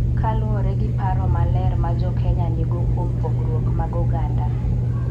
Kaluwore gi paro maler ma Jo-Kenya nigo kuom pogruok mag oganda.